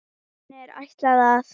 Henni er ætlað að